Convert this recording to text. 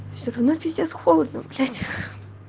все равно пиздец холодно блять